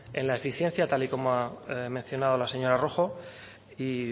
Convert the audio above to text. en la eficiencia tal y como ha mencionado la señora rojo y